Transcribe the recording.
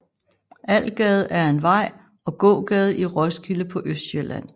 Algade er en vej og gågade i Roskilde på Østsjælland